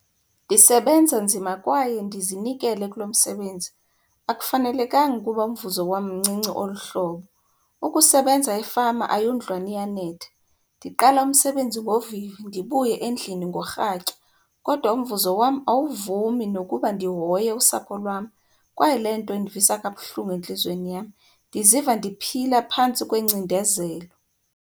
Ndisebenza nzima kwaye ndizinikele kulo msebenzi. Akufanelekanga ukuba umvuzo wam mncinci olu hlobo. Ukusebenza efama ayondlwane iyanetha. Ndiqala umsebenzi ngovivi ndibuye endlini ngorhatya kodwa umvuzo wam awuvumi nokuba ndihoye usapho lwam, kwaye le nto indivisa kabuhlungu entliziyweni yam. Ndiziva ndiphila phantsi kwengcindezelo.